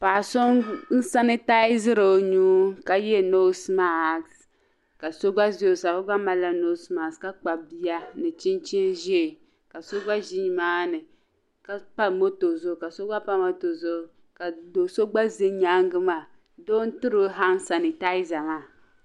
Paɣ'so n-sanitiziri o nuu ka ye "nose mask" ka so gba za o sani o gba malila"nose mask" ka kpabi bia ni chinchini ʒee ka so gba ʒi nimaani ka pa moto zuɣu ka so gba pa moto zuɣu ka do'so gba za nyaaŋa doo n-tiri o "hand sanitizer" maa.